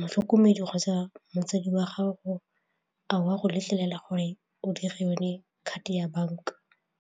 motlhokomedi kgotsa motsadi wa gago, a o a go letlelela gore o dire yone card-e ya banka?